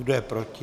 Kdo je proti?